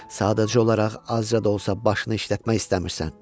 Sadəcə olaraq azca da olsa başını işlətmək istəmirsən.